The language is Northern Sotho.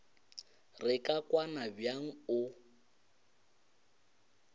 re ka kwana bjang o